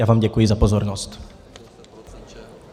Já vám děkuji za pozornost.